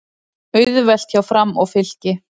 Auðvelt hjá Fram og Fylki